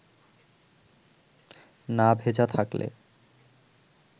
না ভেজা থাকলে